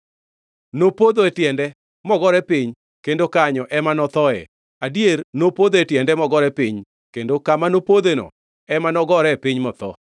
Nopodho e tiende, mogore piny; kendo kanyo ema nothoe. Adier, nopodho e tiende, mogore piny; kendo kama nopodhoeno, ema nogore piny motho.